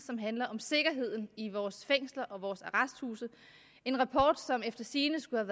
som handler om sikkerheden i vores fængsler og arresthuse en rapport som efter sigende skulle